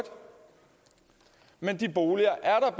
men de boliger er